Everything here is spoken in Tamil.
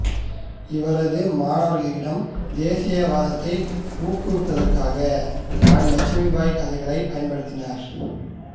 இவரது மாணவர்களிடம் தேசியவாதத்தை ஊக்குவிப்பதற்காக இராணி இலட்சுமிபாய் கதைகளைப் பயன்படுத்தினார்